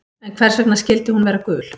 En hvers vegna skyldi hún vera gul?